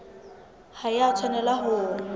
ha e a tshwanela ho